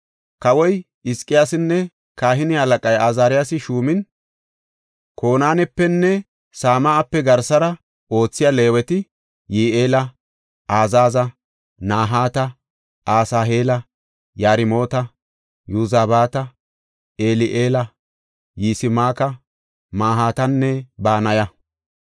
Kawoy Hizqiyaasinne kahine halaqay Azaariyasi shuumin Konaanepenne Same7ape garsara oothiya Leeweti, Yi7eela, Azaaza, Nahaata, Asaheela, Yarmoota, Yozabaata, Eli7eela, Yismaaka, Mahaatanne Banaya.